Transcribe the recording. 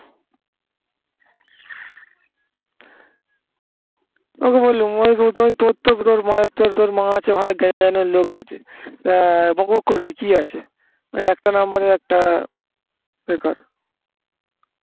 ওই তো বললুম তোর মা আছে ভালো জ্ঞানের লোক আছে তা বকবক করবি কি আছে ওই একটা number এ একটা বেকার